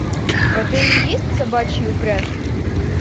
в отеле есть собачьи упряжки